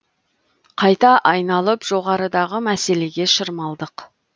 қайта айналып жоғарыдағы мәселеге шырмалдық